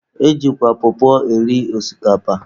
E jikwa pọpọ eri osikapa.